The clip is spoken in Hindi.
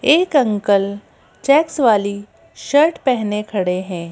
एक अंकल चेक्स वाली शर्ट पहने खड़े हैं।